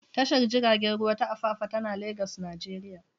Tashar jiragen ruwa ta Apapa tana Legas, Najeriya.